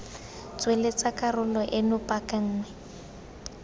tsweletsa karolo eno paka nngwe